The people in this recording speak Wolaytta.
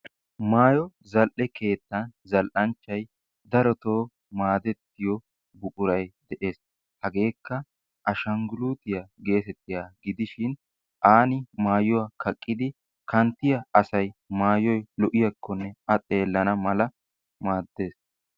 Maayo zal'e keettan zall'anchchay daroto maadettiyoo buquray de'ees hageekka ashanguluutiyaa geetettiyaagaa gidishin aani maayuwaa kaqqidi kanttiyaa asay maayoyi lo'iyaakkonne a xeellana mala maaddes.